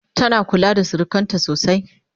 tana kula da surukanta sosai?